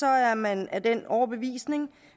er man af den overbevisning